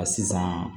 A sisan